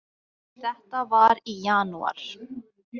Þetta var í janúar.